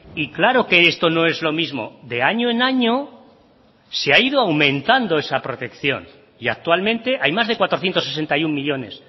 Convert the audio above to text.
y claro que esto no es lo mismo de año en año se ha ido aumentando esa protección y actualmente hay más de cuatrocientos sesenta y uno millónes